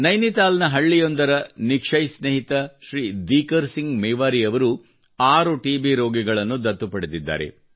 ನೈನಿತಾಲ್ನ ಹಳ್ಳಿಯೊಂದರ ನಿಕ್ಷಯ್ ಸ್ನೇಹಿತ ಶ್ರೀ ದಿಕರ್ ಸಿಂಗ್ ಮೇವಾರಿ ಅವರು ಆರು ಟಿಬಿ ರೋಗಿಗಳನ್ನು ದತ್ತು ಪಡೆದಿದ್ದಾರೆ